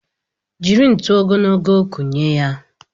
Jiri ntuli ogologo kụnye ya!